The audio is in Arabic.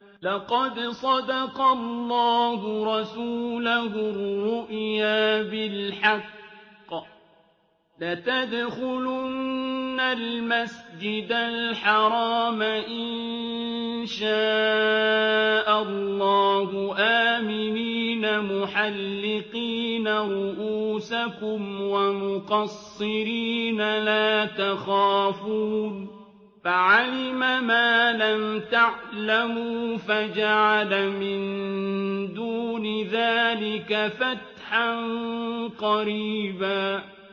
لَّقَدْ صَدَقَ اللَّهُ رَسُولَهُ الرُّؤْيَا بِالْحَقِّ ۖ لَتَدْخُلُنَّ الْمَسْجِدَ الْحَرَامَ إِن شَاءَ اللَّهُ آمِنِينَ مُحَلِّقِينَ رُءُوسَكُمْ وَمُقَصِّرِينَ لَا تَخَافُونَ ۖ فَعَلِمَ مَا لَمْ تَعْلَمُوا فَجَعَلَ مِن دُونِ ذَٰلِكَ فَتْحًا قَرِيبًا